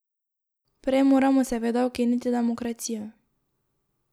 Prej moramo seveda ukiniti demokracijo.